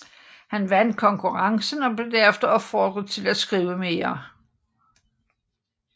Han vandt konkurrencen og blev derefter opfordret til at skrive mere